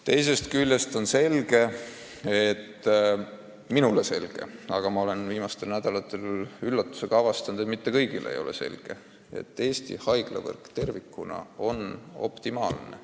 Teisest küljest on selge – minule on see selge, aga olen viimastel nädalatel üllatusega avastanud, et mitte kõigile ei ole see selge –, et Eesti haiglavõrk tervikuna on optimaalne.